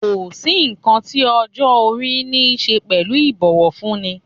Kò sí nǹkan tí ọjọ́ - orí niṣe pẹ̀lú ibowofunni.